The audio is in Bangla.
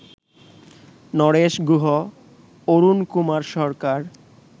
নরেশ গুহ, অরুণকুমার সরকার